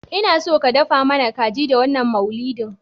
Inaso ka dafa mana kaji da wannan maulidin